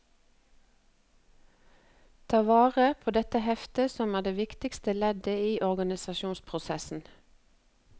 Ta vare på dette heftet som er det viktigste leddet i organisasjonsprosessen.